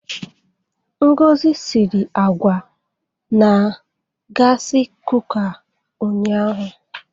Ngozi siri àgwà na gasị kuka ụnyaahụ.